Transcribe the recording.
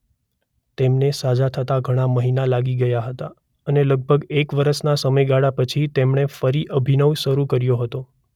તેમને સાજા થતા ઘણા મહિના લાગી ગયા હતા અને લગભગ એક વર્ષના સમયગાળા પછી તેમણે ફરી અભિનય શરૂ કર્યો હતો.